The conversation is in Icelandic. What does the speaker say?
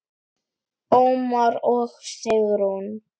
Ómar og Sigrún.